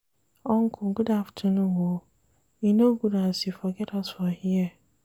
Uncle good afternoon o, e no good as you forget us for here.